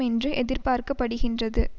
என்று எதிர்பார்க்க படுகின்றது